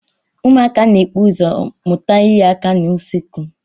Ụmụaka na-ebu ụzọ mụta inye aka n'usekwu.